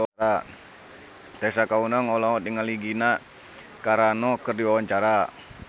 Tessa Kaunang olohok ningali Gina Carano keur diwawancara